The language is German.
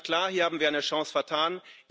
Ganz klar Hier haben wir eine Chance vertan.